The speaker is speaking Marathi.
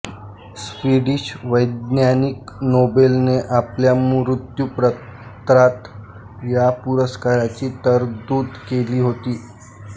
स्वीडिश वैज्ञानिक नोबेलने आपल्या मृत्युपत्रात या पुरस्कारांची तरतूद केली होती